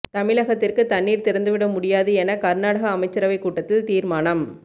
தமிழகத்திற்கு தண்ணீர் திறந்துவிட முடியாது என கர்நாடக அமைச்சரவை கூட்டத்தில் தீர்மானம்